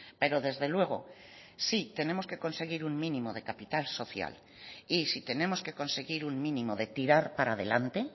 pero desde luego si tenemos que conseguir un mínimo de capital social y si tenemos que conseguir un mínimo de tirar para adelante